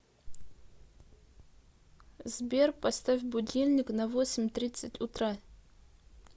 сбер поставь будильник на восемь тридцать утра